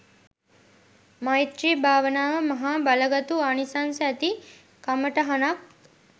මෛත්‍රී භාවනාව මහා බලගතු ආනිසංස ඇති කමටහනක්.